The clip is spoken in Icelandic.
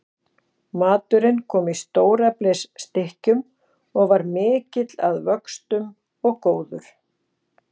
Maturinn kom í stóreflis stykkjum og var mikill að vöxtum og góður.